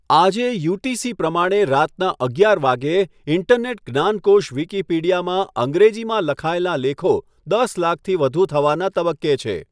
આજે, યુટીસી પ્રમાણે રાતના અગિયાર વાગ્યે, ઈન્ટરનેટ જ્ઞાનકોશ વિકિપીડિયામાં અંગ્રેજીમાં લખાયેલાં લેખો દસ લાખથી વધુ થવાના તબક્કે છે.